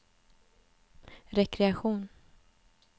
rekreation